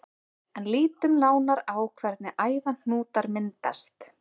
En lítum nánar á hvernig æðahnútar myndast.